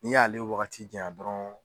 N'i y'ale wagati jaɲa dɔrɔn